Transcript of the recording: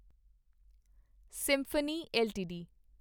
symphony LTD